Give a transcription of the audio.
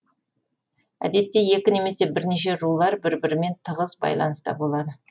әдетте екі немесе бірнеше рулар бір бірімен тығыз байланыста болады